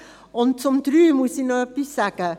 Zum Punkt 3 muss ich noch etwas sagen.